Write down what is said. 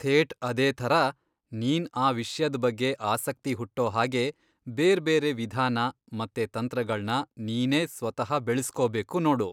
ಥೇಟ್ ಅದೇ ಥರ ನೀನ್ ಆ ವಿಷ್ಯದ್ ಬಗ್ಗೆ ಆಸಕ್ತಿ ಹುಟ್ಟೋ ಹಾಗೆ ಬೇರ್ಬೇರೆ ವಿಧಾನ ಮತ್ತೆ ತಂತ್ರಗಳ್ನ ನೀನೇ ಸ್ವತಃ ಬೆಳೆಸ್ಕೊಬೇಕು ನೋಡು.